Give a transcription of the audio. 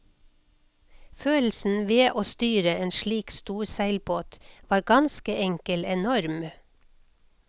Følelsen ved å styre en slik stor seilbåt var ganske enkel enorm.